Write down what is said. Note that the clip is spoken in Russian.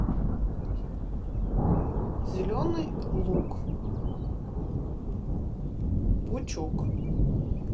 зеленый лук пучок